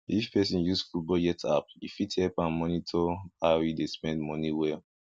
if person use full budget app e fit help am monitor how e dey spend money well